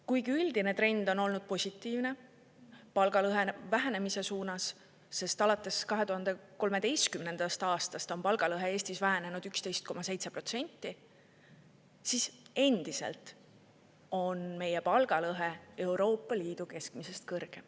Kuigi üldine trend on olnud positiivne – palgalõhe vähenemise suunas –, sest alates 2013. aastast on palgalõhe Eestis vähenenud 11,7%, on endiselt meie palgalõhe Euroopa Liidu keskmisest kõrgem.